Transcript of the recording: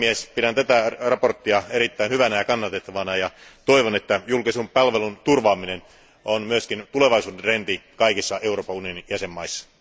Pidän tätä mietintöä erittäin hyvänä ja kannatettavana, ja toivon, että julkisen palvelun turvaaminen on myös tulevaisuuden trendi kaikissa Euroopan unionin jäsenvaltioissa.